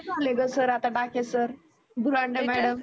झाले ग sir Dake sir Burande madam